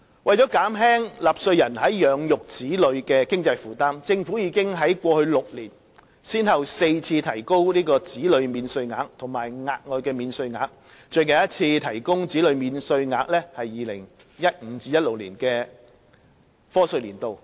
為了減輕納稅人養育子女的經濟負擔，政府已在過去6年先後4次提高子女免稅額和額外的免稅額。最近一次提高子女免稅額是 2015-2016 年度的課稅年度。